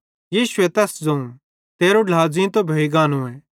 यीशुए तैस ज़ोवं तेरो ढ्ला ज़ींतो भोइ गानोए